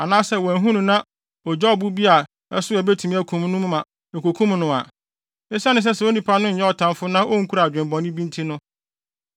anaasɛ wanhu no na ogyaa ɔbo bi a ɛso a ebetumi akum no mu ma ekokum no a, esiane sɛ saa onipa no nyɛ ɔtamfo na onkura adwene bɔne bi nti,